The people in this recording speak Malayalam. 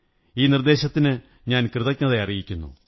ഈ നിര്ദ്ദേനശത്തിന് ഞാൻ കൃതജ്ഞത അറിയിക്കുന്നു